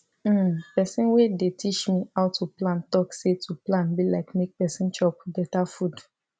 hmmm person wey dey teach me how to plan talk say to plan be like make person chop beta food